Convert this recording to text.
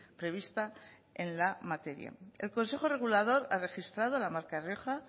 prevista en la materia el consejo regulador ha registrado la marca rioja